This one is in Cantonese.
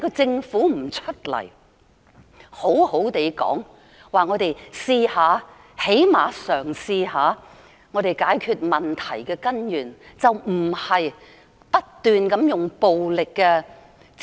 政府該說句："讓我們嘗試——至少嘗試一下——解決問題的根源"，而不是不斷地使用暴力的......